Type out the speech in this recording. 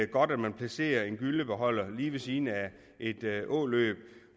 godt at man placerer en gyllebeholder lige ved siden af et åløb